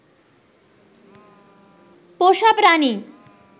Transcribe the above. পোষা প্রাণী